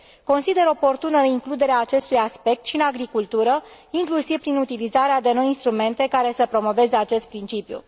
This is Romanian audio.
consider oportună includerea acestui aspect și în agricultură, inclusiv prin utilizarea de noi instrumente care să promoveze acest principiu.